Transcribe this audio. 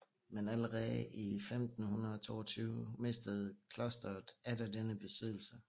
Men allerede i 1522 mistede klosteret atter denne besiddelse